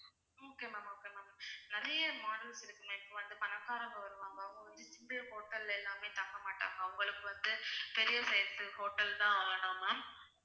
okay ma'am okay ma'am நிறைய models இருக்கு ma'am இப்ப வந்து பணக்காரங்க வருவாங்க அவங்க வந்து simple hotel ல எல்லாமே தங்க மாட்டாங்க அவங்களுக்கு வந்து பெரிய size hotel தான் வேணும் ma'am